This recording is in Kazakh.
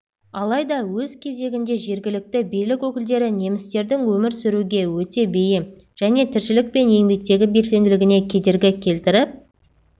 алайда өз кезегінде жергілікті билік өкілдері немістердің өмір сүруге өте бейім және тіршілік пен еңбектегі белсенділігіне кедергі келтіріп